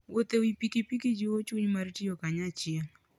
Wuoth e wi pikipiki jiwo chuny mar tiyo kanyachiel.